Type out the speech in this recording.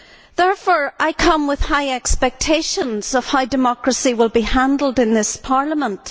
Therefore, I come with high expectations of how democracy will be handled in this Parliament.